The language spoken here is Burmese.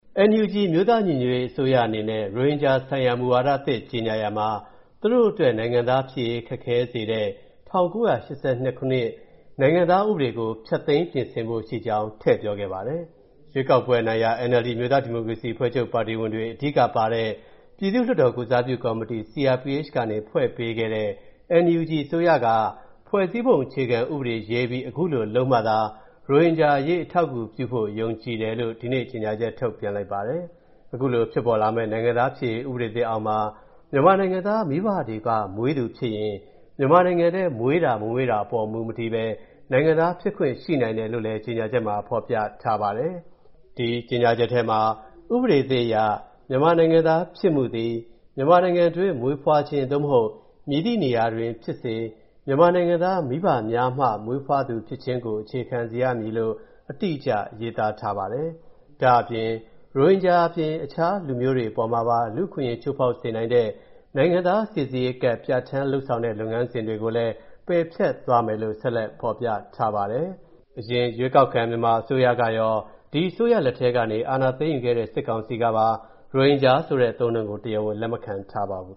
NUG အမျိုးသားညီညွတ်ရေးအစိုးရအနေနဲ့ ရိုဟင်ဂျာဆိုင်ရာမူဝါဒသစ် ကြေညာရာမှာ သူတို့အတွက် နိုင်ငံသားဖြစ်ရေး ခက်ခဲစေတဲ့ ၁၉၈၂ နိုင်ငံသားဥပဒေကို ဖျက်သိမ်းပြင်ဆင်ဖို့ရှိကြောင်း ထည့်ပြောခဲ့ပါတယ်။ ရွေးကောက်ပွဲအနိုင်ရ NLD အမျိုးသားဒီမိုကရေစီအဖွဲ့ချုပ်ပါတီဝင်တွေ အဓိကပါတဲ့ ပြည်သူ့လွှတ်တော်ကိုယ်စားပြုကော်မတီ CRPH ကနေ ဖွဲ့ပေးခဲ့တဲ့ NUG အစိုးရက ဖွဲ့စည်းပုံအခြေခံဥပဒေရေးပြီး အခုလိုလုပ်မှသာ ရိုဟင်ဂျာအရေး အထောက်အကူပြုဖို့ ယုံကြည်တယ်လို့ ဒီနေ့ကြေညာချက်ထုတ်ပြန်လိုက်ပါတယ်။ အခုလို ဖြစ်ပေါ်လာမဲ့ နိုင်ငံသားဖြစ်ရေး ဥပဒေသစ်အောက်မှာ မြန်မာနိုင်ငံသားမိဘတွေက မွေးသူဖြစ်ရင် မြန်မာနိုင်ငံထဲ မွေးတာ၊ မမွေးတာအပေါ် မူမတည်ဘဲ နိုင်ငံသားဖြစ်ခွင့်ရှိနိုင်တယ်လို့လည်း ကြေညာချက်မှာ ဖော်ပြထားပါတယ်။ ဒီ ကြေညာချက်ထဲမှာ “ဥပဒေသစ်အရ မြန်မာနိုင်ငံသားဖြစ်မှုသည် မြန်မာနိုင်ငံတွင်းမွေးဖွားခြင်း သို့မဟုတ် မည်သည့်နေရာတွင်ဖြစ်စေ မြန်မာနိုင်ငံသား မိဘများမှ မွေးဖွားသူဖြစ်ခြင်းကို အခြေခံစေရမည်။” လို့ အတိအကျ ရေးသားထားပါတယ်။ ဒါ့အပြင် ရိုဟင်ဂျာအပြင် အခြားလူမျိုးတွေအပေါ်မှာပါ လူ့အခွင့်အရေး ချိုးဖောက်စေနိုင်တဲ့၊ နိုင်ငံသားစိစစ်ရေးကဒ် ပြဌာန်းလုပ်ဆောင်တဲ့ လုပ်ငန်းစဉ်တွေကိုလည်း ပယ်ဖျက်သွားမယ်လို့ ဆက်ဖော်ပြထားပါတယ်။ အရင် ရွေးကောက်ခံ မြန်မာအစိုးရကရော၊ ဒီအစိုးရလက်ထဲကနေ အာဏာသိမ်းယူခဲ့တဲ့ စစ်ကောင်စီကပါ ရိုဟင်ဂျာဆိုတဲ့ အသုံးအနှုန်းကို တရားဝင်လက်ခံမထားပါဘူး